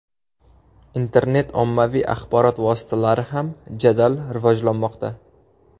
Internet ommaviy axborot vositalari ham jadal rivojlanmoqda.